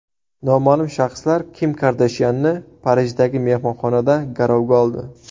Noma’lum shaxslar Kim Kardashyanni Parijdagi mehmonxonada garovga oldi.